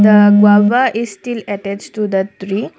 the guava is still attached to the tree.